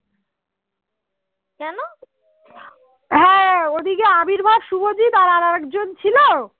ঐদিকে আবির বা শুভজিৎ আর একজন ছিল